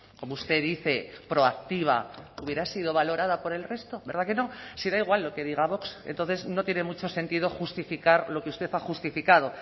como usted dice proactiva hubiera sido valorada por el resto verdad que no si da igual lo que diga vox entonces no tiene mucho sentido justificar lo que usted ha justificado